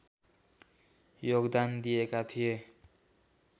योगदान दिएका थिए